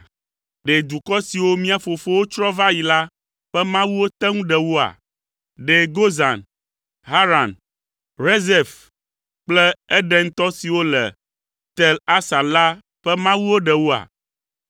Ɖe dukɔ siwo mía fofowo tsrɔ̃ va yi la ƒe mawuwo te ŋu ɖe woa? Ɖe Gozan, Haran, Rezef kple Edentɔ siwo le Tel Asar la ƒe mawuwo ɖe woa?